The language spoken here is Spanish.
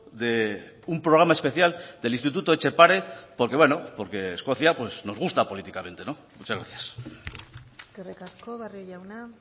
de un programa especial del instituto etxepare porque bueno porque escocia nos gusta políticamente muchas gracias eskerrik asko barrio jauna